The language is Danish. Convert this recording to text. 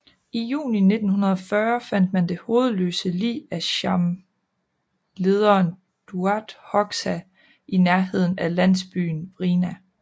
I juni 1940 fandt man det hovedløse lig af Cham lederen Daut Hoxha i nærheden af landsbyenVrina